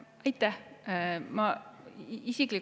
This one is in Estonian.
Aitäh!